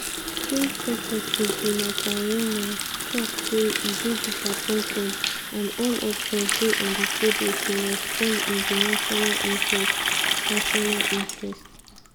trade secretary jonathan reynolds tok say e dey disappointed and "all options dey on di table" to respond in di national interest. national interest.